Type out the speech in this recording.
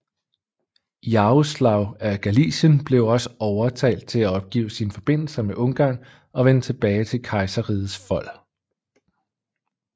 Yaroslav af Galicien blev også overtalt til at opgive sine forbindelser med Ungarn og vende tilbage til kejserrigets fold